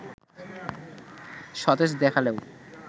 সতেজ দেখালেও